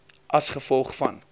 as gevolg van